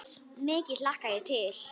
Mikið hlakka ég til.